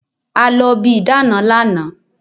A lọ bi ìdáàna lánàá